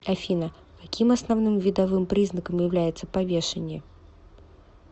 афина каким основным видовым признаком является повешение